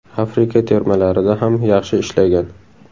Afrika termalarida ham yaxshi ishlagan.